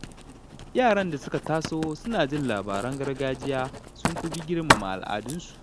Yaran da suka taso suna jin labaran gargajiya sun fi girmama al’adunsu